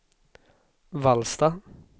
Vallsta